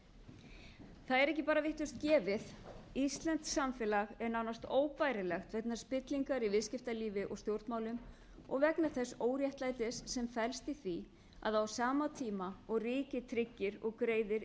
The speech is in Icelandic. það er ekki bara vitlaust gefið íslenskt samfélag er nánast óbærilegt vegna spillingar í viðskiptalífi og stjórnmálum og vegna þess óréttlætis sem felst í því að á sama tíma og ríkið tryggir og greiðir